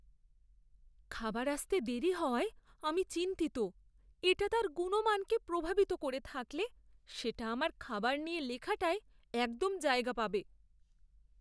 খাবার আসতে দেরি হওয়ায় আমি চিন্তিত। এটা তার গুণমানকে প্রভাবিত করে থাকলে সেটা আমার খাবার নিয়ে লেখাটায় একদম জায়গা পাবে।